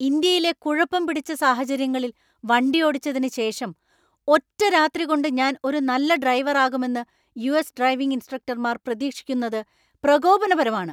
ഇന്ത്യയിലെ കുഴപ്പം പിടിച്ച സാഹചര്യങ്ങളിൽ വണ്ടിയോടിച്ചതിന് ശേഷം ഒറ്റരാത്രികൊണ്ട് ഞാൻ ഒരു നല്ല ഡ്രൈവറാകുമെന്ന് യു.എസ് ഡ്രൈവിംഗ് ഇൻസ്ട്രക്ടർമാർ പ്രതീക്ഷിക്കുന്നത് പ്രകോപനപരമാണ്.